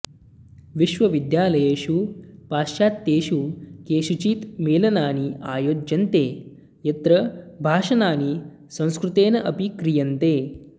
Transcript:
विश्वविद्यालयेषु पाश्चात्येषु केषुचित् मेलनानि आयोज्यन्ते यत्र भाषणानि संस्कृतेन अपि क्रियन्ते